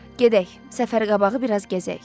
Gedək, səfər qabağı biraz gəzək.